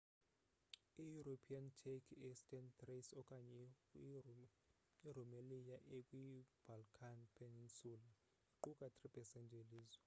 i-european turkey eastern thrace okanye i-rumelia ekwi balkan peninsula iqukai 3% yelizwe